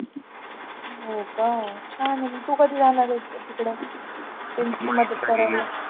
हो का? छान आहे तू कधी जाणार आहेस